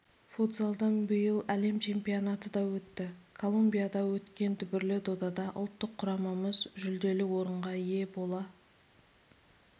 футзалдан биыл әлем чемпионаты да өтті колумбияда өткен дүбірлі додада ұлттық құрамамыз жүлделі орынға ие бола